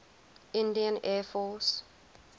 indian air force